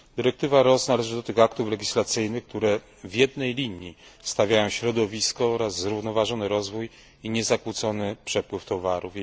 Dyrektywa RoHS należy do tych aktów legislacyjnych, które w jednej linii stawiają środowisko oraz zrównoważony rozwój i niezakłócony przepływ towarów.